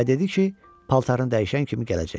Və dedi ki, paltarın dəyişən kimi gələcək.